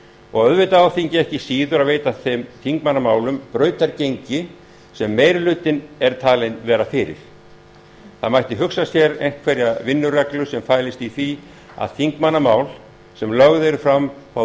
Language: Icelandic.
og auðvitað á þingið ekki síður að veita þeim þingmannamálum brautargengi sem meiri hluti er talinn vera fyrir það mætti hugsa sér einhverja vinnureglu sem fælist í því að þingmannamál sem lögð eru fram fái